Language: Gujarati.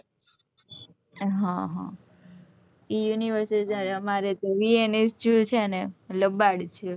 હ હ ઇ university જયારે અમારે તો એ લબાડ છે